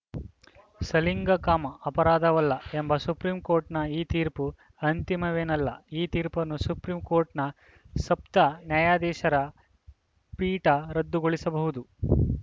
ಸಲಿಂಗಕಾಮ ಅಪರಾಧವಲ್ಲ ಎಂಬ ಸುಪ್ರೀಂ ಕೋರ್ಟ್‌ನ ಈ ತೀರ್ಪು ಅಂತಿಮವೇನಲ್ಲ ಈ ತೀರ್ಪನ್ನು ಸುಪ್ರೀಂ ಕೋರ್ಟ್‌ನ ಸಪ್ತ ನ್ಯಾಯಾಧೀಶರ ಪೀಠ ರದ್ದುಗೊಳಿಸಬಹುದು